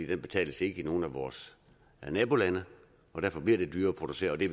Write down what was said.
den betales ikke i nogen af vores nabolande og derfor bliver det dyrere at producere og det